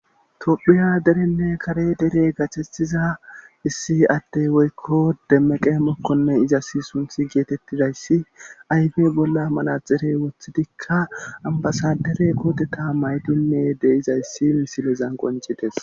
tophiya derenne kare dere gathettiza issi atte woykko demmaqe mokkonne izasi sunthi geetettidayssi ayfe bolla manaxire woththidikka ambasadere kooteta maydinne deizayssi misilezan qoncites